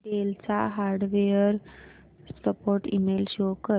del चा hardware support email show कर